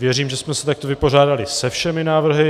Věřím, že jsme se takto vypořádali se všemi návrhy.